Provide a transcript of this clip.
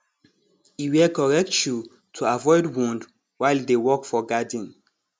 e wear correct shoe to avoid wound while e dey work for garden